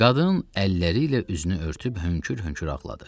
Qadın əlləri ilə üzünü örtüb hönkür-hönkür ağladı.